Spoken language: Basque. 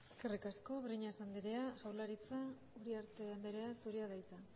eskerrik asko eskerrik asko breñas andrea jaurlaritza uriarte andrea zurea da hitza